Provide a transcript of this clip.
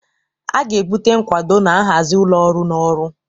A ga-ebute nkwado na nhazi ụlọ ọrụ na ọrụ.